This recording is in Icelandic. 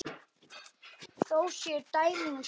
Þó séu dæmi um slíkt.